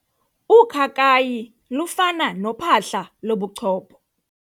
Ukhakayi lufana nophahla lobuchopho.